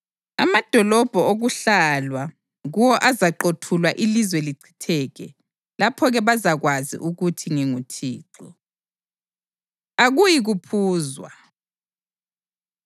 Amadolobho okuhlalwa kuwo azaqothulwa ilizwe lichitheke. Lapho-ke bazakwazi ukuthi nginguThixo.’ ” Akuyi Kuphuzwa